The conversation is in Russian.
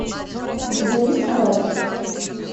у тебя есть каратель